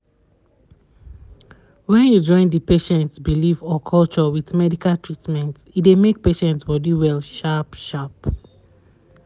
wen you join d patients belief or culture with medical treatment e dey make patients body well sharp sharp